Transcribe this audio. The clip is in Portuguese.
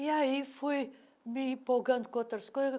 E aí fui me empolgando com outras coisas.